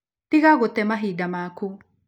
Tiga gũte mahinda maku.